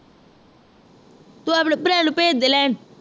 ਤੂੰ ਆਪਣੇ ਭਰਾ ਨੂੰ ਭੇਜ ਦੇ ਲੈਣ